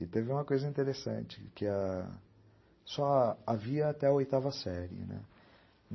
E teve uma coisa interessante, que a... só havia até a oitava série, né?